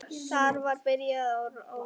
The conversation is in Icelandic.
Þar byrjum við mjög rólega.